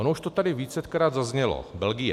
Ono už to tady vícekrát zaznělo - Belgie.